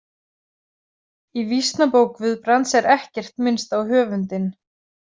Í Vísnabók Guðbrands er ekkert minnst á höfundinn.